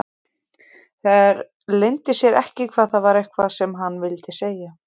Það leyndi sér ekki að það var eitthvað sem hann vildi segja.